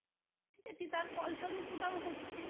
এতে তার ফলস্বরূপ ওটাও হচ্ছে